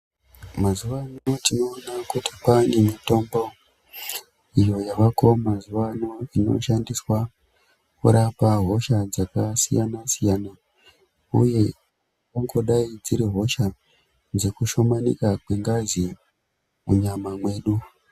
Mazuvano tinoona kuti kwaane mitombo iyo yaveko mazuvano inoshandiswa kurapa hosha dzakasiyana-siyana uye dzinogona kudai dziri dzekushomanika kwengazi munyama mwedu.